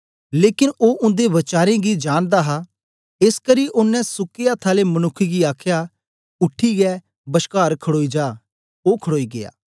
लेकन ओ उन्दे वचारें गी जानदा हा एसकरी ओनें सुके अथ्थ आले मनुक्ख गी आखया उठीयै बश्कार खड़ोई जा ओ खड़ोई गीया